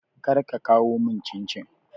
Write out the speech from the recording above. Kar ka kawo mun cincin